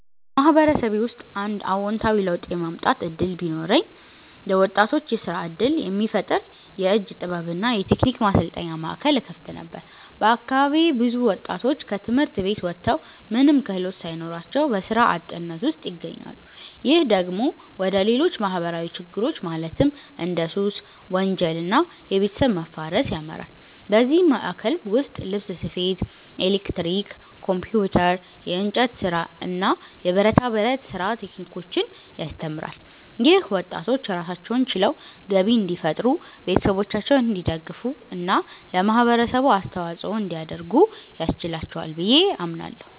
በማህበረሰቤ ውስጥ አንድ አዎንታዊ ለውጥ የማምጣት እድል ቢኖረኝ፣ ለወጣቶች የስራ እድል የሚፈጥር የእጅ ጥበብ እና የቴክኒክ ማሰልጠኛ ማዕከል እከፍት ነበር። በአካባቢዬ ብዙ ወጣቶች ከትምህርት ቤት ወጥተው ምንም ክህሎት ሳይኖራቸው በስራ አጥነት ውስጥ ይገኛሉ። ይህ ደግሞ ወደ ሌሎች ማህበራዊ ችግሮች ማለትም እንደ ሱስ፣ ወንጀል እና የቤተሰብ መፋረስ ያመራል። በዚህ ማዕከል ውስጥ ልብስ ስፌት፣ ኤሌክትሪክ፣ ኮምፒውተር፣ የእንጨት ስራ፣ የብረታ ብረት ስራ ቴክኒኮችን ያስተምራል። ይህም ወጣቶች ራሳቸውን ችለው ገቢ እንዲፈጥሩ፣ ቤተሰቦቻቸውን እንዲደግፉ እና ለማህበረሰቡ አስተዋጽኦ እንዲያደርጉ ያስችላቸዋል ብዬ አምናለሁ።